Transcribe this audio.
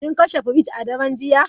Kin kashe firij a daren jiya?